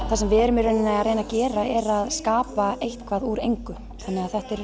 það sem við erum í rauninni að gera er að skapa eitthvað úr engu þannig að þetta er